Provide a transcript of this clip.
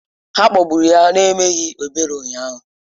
Ha kpagburu ya n'emeghị ebere ụnyahụ.